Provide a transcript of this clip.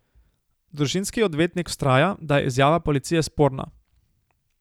Družinski odvetnik vztraja, da je izjava policije sporna.